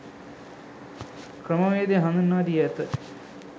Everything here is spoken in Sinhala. ක්‍රමවේදය හඳුන්වා දී ඇත.